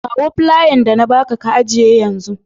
Kawo flayan da na ba ka, ka ajiye yanzun.